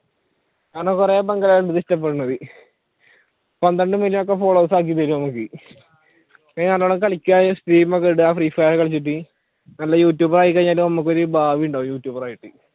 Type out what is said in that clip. പന്ത്രണ്ടു മില്യൺ നല്ലോണം കളിക്കുക, stream ഒക്കെ ഇടുക free fire കളിച്ചിട്ട് നല്ല യൂട്യൂബർ ആയിക്കഴിഞ്ഞിട്ട് നമുക്ക് ഒരു ഭാവി ഉണ്ടാവും യൂട്യൂബർ ആയിട്ട്